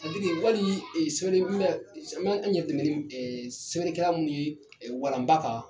Wali sɛbɛnni an yɛrɛ dɛmɛ ni sɛbɛnnikɛlan minnu ye walanba kan